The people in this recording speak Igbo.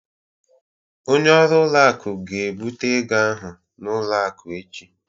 Onye ọrụ ụlọ akụ ga-ebute ego ahụ n'ụlọ akụ echi